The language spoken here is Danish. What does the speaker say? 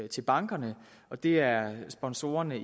til bankerne og det er sponsorerne